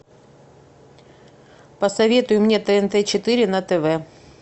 посоветуй мне тнт четыре на тв